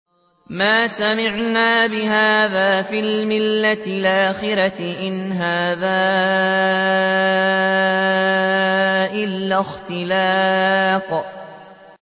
مَا سَمِعْنَا بِهَٰذَا فِي الْمِلَّةِ الْآخِرَةِ إِنْ هَٰذَا إِلَّا اخْتِلَاقٌ